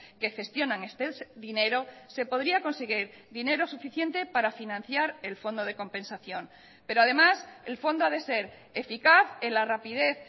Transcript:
que gestionan este dinero se podría conseguir dinero suficiente para financiar el fondo de compensación pero además el fondo ha de ser eficaz en la rapidez